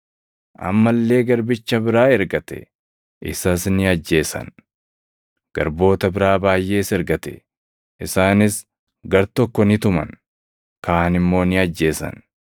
Amma illee garbicha biraa ergate; isas ni ajjeesan. Garboota biraa baayʼees ergate; isaanis gartokko ni tuman; kaan immoo ni ajjeesan.